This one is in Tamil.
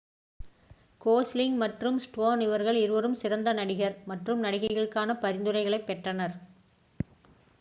கோஸ்லிங் மற்றும் ஸ்டோன் இவர்கள் இருவரும் சிறந்த நடிகர் மற்றும் நடிகைக்கான பரிந்துரைகளைப் பெற்றனர்